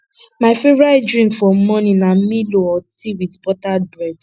my favorite drink for morning na milo or tea with buttered bread